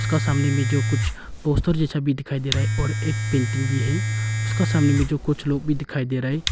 इसका सामने में जो कुछ पोस्टर जैसा भी दिखाई दे रहा है और एक पेंटिंग भी है उसका सामने मे जो कुछ लोग भी दिखाई दे रहा है।